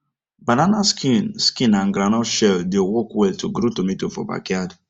banana skin skin and groundnut shell dey work well to grow tomato for backyard